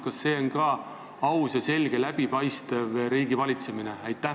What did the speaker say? Kas see on aus ja läbipaistev riigi valitsemine?